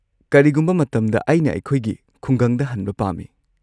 ꯀꯔꯤꯒꯨꯝꯕ ꯃꯇꯝꯗ ꯑꯩꯅ ꯑꯩꯈꯣꯏꯒꯤ ꯈꯨꯡꯒꯪꯗ ꯍꯟꯕ ꯄꯥꯝꯃꯤ꯫